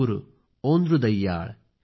एनिर् सिन्दनै ओंद्दुडैयाळ